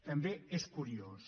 també és curiós